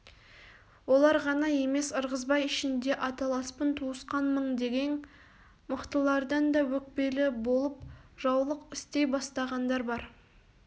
олар ғана емес ырғызбай ішінде аталаспын туысқанмың дегең мықтылардан да өкпелі болып жаулық істей бастағандар бар